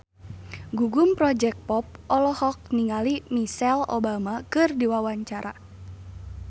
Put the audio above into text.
Gugum Project Pop olohok ningali Michelle Obama keur diwawancara